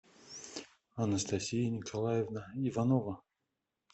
анастасия николаевна иванова